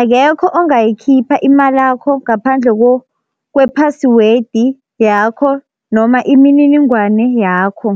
akekho ongayikhipha imalakho ngaphandle kwe-password yakho noma imininingwane yakho.